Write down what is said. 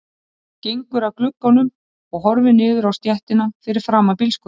Gengur að glugganum og horfir niður á stéttina fyrir framan bílskúrinn.